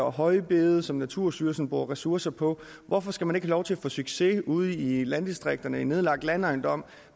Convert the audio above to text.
og højbede som naturstyrelsen bruger ressourcer på hvorfor skal man ikke have lov til at få succes ude i landdistrikterne i en nedlagt landejendom